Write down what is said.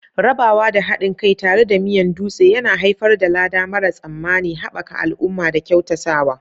Rabawa da haɗin kai tare da Miyan Dutse yana haifar da lada mara tsammani, haɓaka al'umma da kyautatawa.